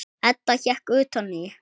Edda hékk utan í.